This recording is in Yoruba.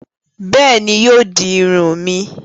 Béèni, yóò di Irun mi.